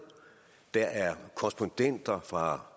der er korrespondenter fra